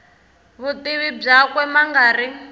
vutivi byakwe ma nga ri